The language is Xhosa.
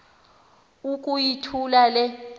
uku yithula le